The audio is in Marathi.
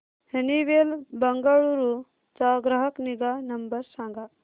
हनीवेल बंगळुरू चा ग्राहक निगा नंबर सांगा